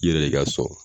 I yɛrɛ de ka sɔn